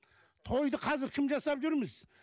тойды қазір кім жасап жүрміз